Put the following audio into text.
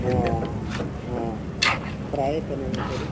অ অ অ অ প্ৰায়ে তেনেকে কৰো